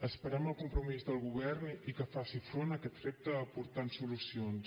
esperem el compromís del govern i que faci front a aquest repte aportant solucions